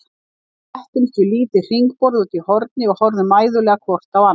Við settumst við lítið hringborð úti í horni og horfðum mæðulega hvort á annað.